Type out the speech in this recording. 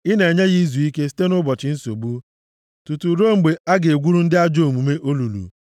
ị na-enye ya izuike site nʼụbọchị nsogbu; tutu ruo mgbe a ga-egwuru ndị ajọ omume olulu.